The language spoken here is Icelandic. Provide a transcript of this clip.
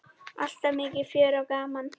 Alltaf mikið fjör og gaman.